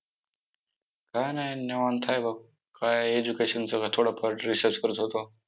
काय नाही, निवांत आहे बघ, काय education चं थोडंफार research करत होतो.